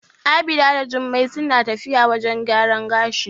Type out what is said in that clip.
Abida da Jummai suna tafiya wajen gyaran gashi.